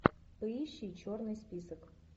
поищи черный список